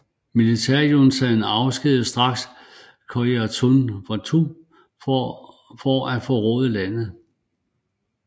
Militærjuntaten afskedigede straks Kyaw Moe Tun for at forråde landet